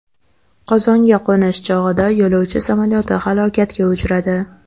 Qozonga qo‘nish chog‘ida yo‘lovchi samolyoti halokatga uchradi.